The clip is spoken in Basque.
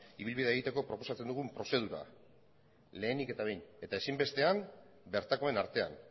ibilbidea egiteko proposatzen dugun prozedura lehenik eta behin eta ezinbestean bertakoen artean